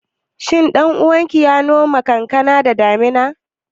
Ƙaninka ya noma kankana da damuna?